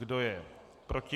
Kdo je proti?